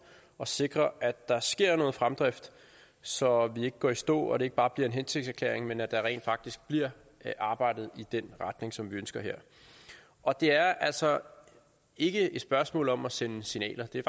og sikre at der sker en fremdrift så vi ikke går i stå og det ikke bare bliver en hensigtserklæring men at der her rent faktisk bliver arbejdet i den retning som vi ønsker og det er altså ikke et spørgsmål om at sende signaler det er